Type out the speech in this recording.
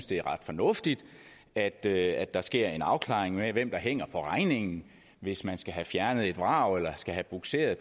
det er ret fornuftigt at der at der sker en afklaring af hvem der hænger på regningen hvis man skal have fjernet et vrag eller skal have bugseret